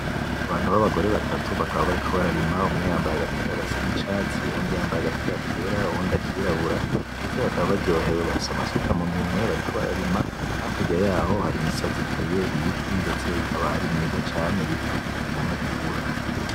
Abantu babagore batatu bakaba bariko bararima umwe yambaye agapira gasa nicatsi uwundi yambaye agapira kera uwundi akirabura , ndetse bakaba baryohewe bafise amasuka muntoke bariko bararima hakurya yaho hari imisozi iteye ibiti ndetse ikaba ari myiza cane , ibiti bikingira inkukura .